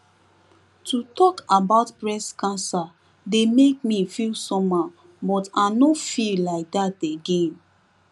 to talk about breast cancer dey make me feel somehow but i nor feel like that again